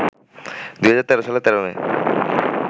২০১৩ সালের ১৩ মে